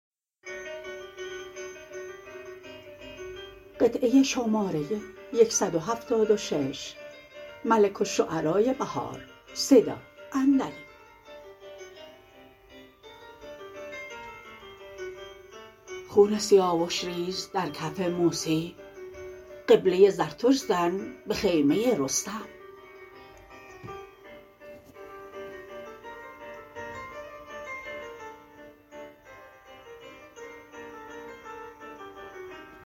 خون سیاوش ریز در کف موسی قبله زردشت زن به خیمه رستم